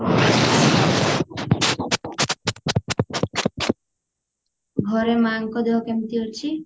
ଘରେ ମାଙ୍କ ଦେହ କେମତି ଅଛି